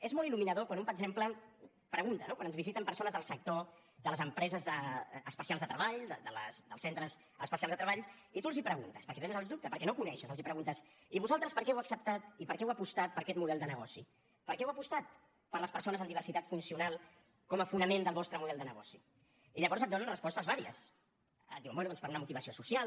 és molt il·luminador quan un per exemple pregunta no quan ens visiten persones del sector de les empreses especials de treball dels centres especials de treball i tu els preguntes perquè tens el dubte perquè no ho coneixes els preguntes i vosaltres per què heu acceptat i per què heu apostat per aquest model de negoci per què heu apostat per les persones amb diversitat funcional com a fonament del vostre model de negoci i llavors et donen respostes vàries et diuen bé doncs per una motivació social